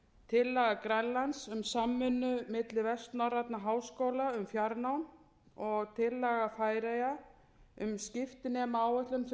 tillaga grænlands um samvinnu milli vestnorrænna háskóla um fjarnám og tillaga færeyja um skiptinemaáætlun fyrir framhaldsskólanema